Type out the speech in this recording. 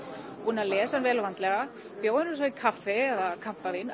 búnir að lesa vel og vandlega bjóða honum svo í kaffi eða kampavín